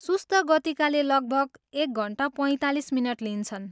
सुस्त गतिकाले लगभग एक घन्टा पैँतालिस मिनट लिन्छन्।